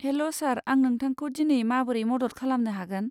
हेल', sir. आं नोंथांखौ दिनै माबोरै मदद खालामनो हागोन?